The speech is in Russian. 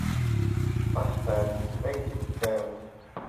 поставь эктив чайлд